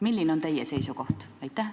Milline on teie seisukoht?